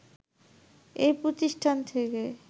এই প্রতিষ্ঠান থেকে